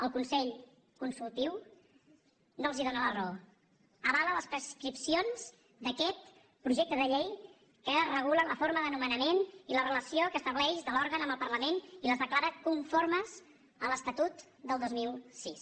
el consell consultiu no els dóna la raó avala les prescripcions d’aquest projecte de llei que regula la forma de nomenament i la relació que estableix de l’òrgan amb el parlament i les declara conformes a l’estatut del dos mil sis